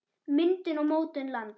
Myndun og mótun lands